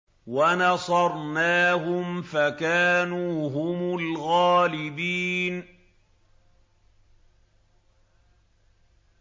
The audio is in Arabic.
وَنَصَرْنَاهُمْ فَكَانُوا هُمُ الْغَالِبِينَ